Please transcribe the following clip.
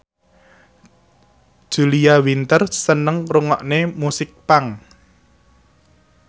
Julia Winter seneng ngrungokne musik punk